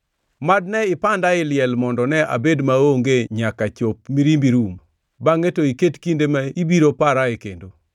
“Mad ne ipanda ei liel mondo ne abed maonge nyaka chop mirimbi rum, bangʼe to iket kinde ma ibiro parae kendo!